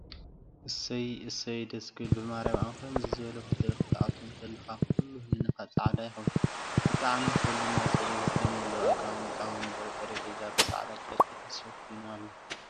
እሰይ! እሰይ! ደስ ክብል ብማርያም ኣብ ከምዚ ዝበለ ሆቴል ክትኣቱ እንተለካ ኩሉ ህሊናካ ፃዕዳ ይከውን። ብጣዕሚ ውሕልና ፅሬት ብዝተመለኦ ኣቀማምጣን ወንበር ጠሬጰዛን ብፃዕዳ ጨርቂ ተሸፊኑ ኣሎ።